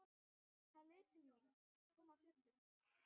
Hann leit til mín, kom af fjöllum.